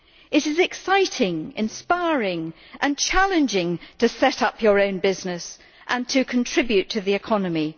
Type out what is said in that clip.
It is exciting, inspiring and challenging to set up your own business and to contribute to the economy.